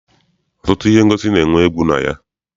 Ọtụtụ ihe ngosi na-enwe egwu na ha.